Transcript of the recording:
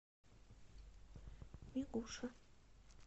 мигуша